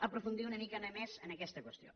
aprofundir una micona més en aquesta qüestió